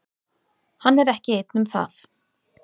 Hann er ekki einn um það.